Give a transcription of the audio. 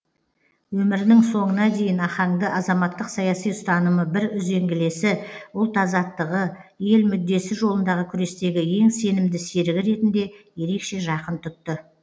өмірінің соңына дейін ахаңды азаматтық саяси ұстанымы бір үзеңгілесі ұлт азаттығы ел мүддесі жолындағы күрестегі ең сенімді серігі ретінде ерекше жақын тұтты